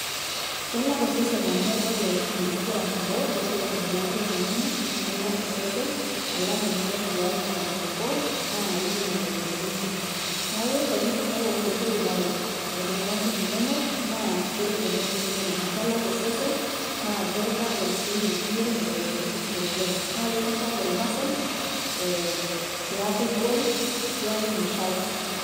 Kelak osesen amu ore ina nigira arrumoo naa kelak osesen alang' teniton tiaji anunuko naa itum imoyiaritin kumok neeku enirrumo enkulubaro aitumia nguvu inonok naa keret oleng' osesen amu kelak osesen naa kakintagol sii nemitum imoyiaritin oleng' naa kakintagol muscles ee pee eeku igol pee eeku mishal.